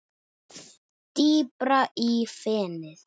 Dýpra í fenið